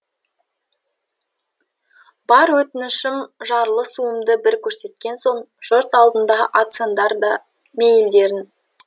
бар өтінішім жарлысуымды бір көрсеткен соң жұрт алдында атсаңдар да мейілдерің